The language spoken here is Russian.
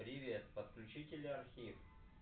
привет подключи теле архив